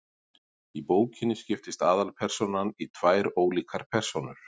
Í bókinni skiptist aðalpersónan í tvær ólíkar persónur.